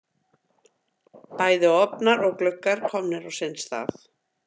Bæði ofnar og gluggar komnir á sinn stað.